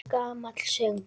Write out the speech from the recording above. Gamall söngur!